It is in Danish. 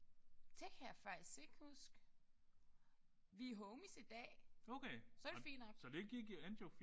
Det kan jeg faktisk ikke huske. Vi er homies i dag. Så det fint